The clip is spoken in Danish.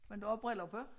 Men du har briller på